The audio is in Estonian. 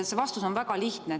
See vastus on väga lihtne.